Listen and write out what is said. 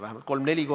Mis siis oodata on?